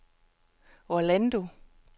Orlando